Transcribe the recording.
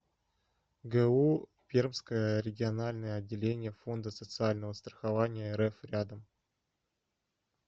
гу пермское региональное отделение фонда социального страхования рф рядом